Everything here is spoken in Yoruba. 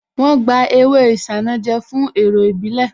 Wọ́n gba ewé isanaje fún èrò ìbílè